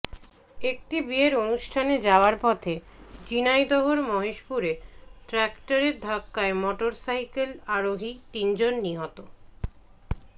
একটি বিয়ের অনুষ্ঠানে যাওয়ার পথে ঝিনাইদহের মহেশপুরে ট্রাক্টরের ধাক্কায় মোটরসাইকেল আরোহী তিনজন নিহত